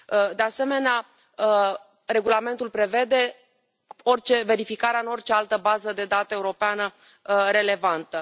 De asemenea, regulamentul prevede verificarea în orice altă bază de date europeană relevantă.